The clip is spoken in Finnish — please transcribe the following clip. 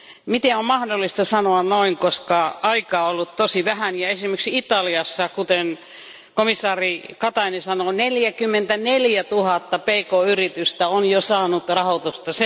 Miten on mahdollista sanoa noin, koska aikaa on ollut tosi vähän ja esimerkiksi Italiassa, kuten komission jäsen Katainen sanoi, neljäkymmentäneljätuhatta pk yritystä on jo saanut rahoitusta?